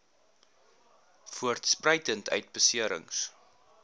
voortspruitend uit beserings